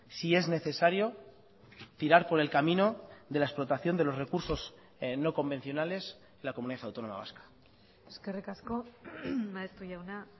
si es necesario tirar por el camino de la explotación de los recursos no convencionales la comunidad autónoma vasca eskerrik asko maeztu jauna